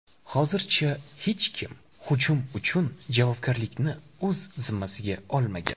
Hozircha hech kim hujum uchun javobgarlikni o‘z zimmasiga olmagan.